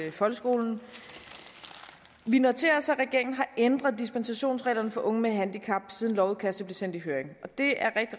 i folkeskolen vi noterer os at regeringen har ændret dispensationsreglerne for unge med handicap siden lovudkastet blev sendt i høring og det er